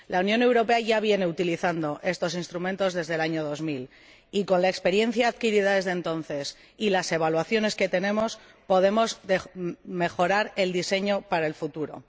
La Unión Europea ya viene utilizando estos instrumentos desde el año 2000 y, con la experiencia adquirida desde entonces y las evaluaciones que tenemos, podemos mejorar el diseño para el futuro.